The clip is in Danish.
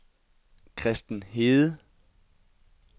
Kristen Hede